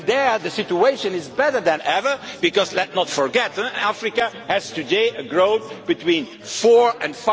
There the situation is better than ever because, let us not forgot, Africa today has growth of between 4 and